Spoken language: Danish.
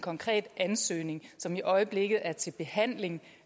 konkret ansøgning som i øjeblikket er til behandling